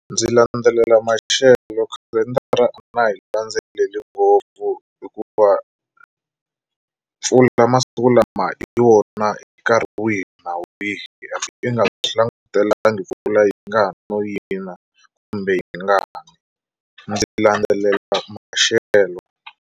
Ndzi landzelela maxelo khalendara a na ha yi landzeleli ngopfu hikuva mpfula masiku lama hi yona nkarhi wihi na wihi i nga swi langutelangi mpfula yi nga ha no yina kumbe yi nga ni ndzi landzelela maxelo.